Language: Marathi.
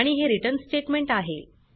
आणि हे रिटर्न स्टेटमेंट आहे